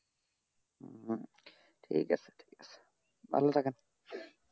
ঠিক আছে ঠিক আছে ভালো থাকেন